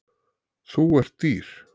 Þú ert dýr.